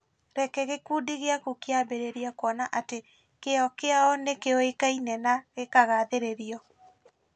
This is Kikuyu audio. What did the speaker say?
Reke gĩkundi gĩaku kĩambĩrĩrie kuona atĩ kĩyo kĩao nĩ kĩoĩkaine na gĩkagathĩrĩrio.